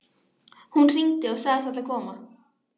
Hún hringdi og sagðist ætla að koma.